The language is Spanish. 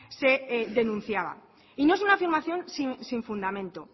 se denunciaba y no es una afirmación sin fundamento